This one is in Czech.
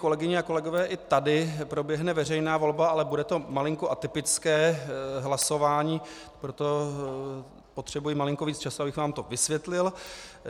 Kolegyně a kolegové, i tady proběhne veřejná volba, ale bude to malinko atypické hlasování, proto potřebuji malinko víc času, abych vám to vysvětlil.